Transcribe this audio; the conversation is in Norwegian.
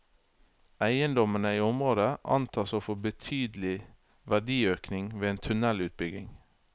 Eiendommene i området antas å få betydelig verdiøkning ved en tunnelutbygging.